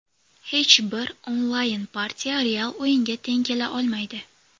Hech bir onlayn-partiya real o‘yinga teng kela olmaydi.